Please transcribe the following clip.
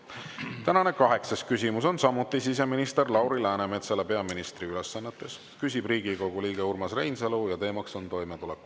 Tänane kaheksas küsimus on samuti siseminister Lauri Läänemetsale peaministri ülesannetes, küsib Riigikogu liige Urmas Reinsalu ja teema on toimetulek.